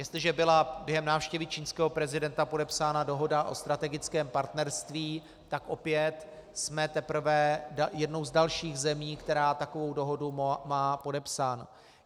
Jestliže byla během návštěvy čínského prezidenta podepsána dohoda o strategickém partnerství, tak opět jsme teprve jednou z dalších zemí, která takovou dohodu má podepsanou.